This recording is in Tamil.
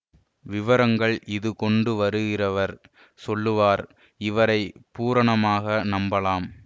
விவரங்கள் இது கொண்டு வருகிறவர் சொல்லுவார் இவரை பூரணமாக நம்பலாம்